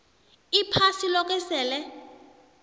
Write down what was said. iphasi loke sele